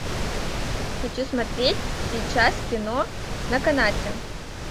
хочу смотреть сейчас кино на канате